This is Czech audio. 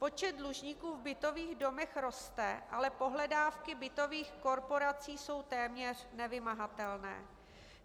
Počet dlužníků v bytových domech roste, ale pohledávky bytových korporací jsou téměř nevymahatelné.